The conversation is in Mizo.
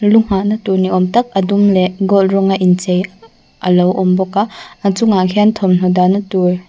lu nghah na tur ni awm tak a dum leh gold rawng a inchei alo awm bawk a a chungah khian thawmhnaw dah na tur--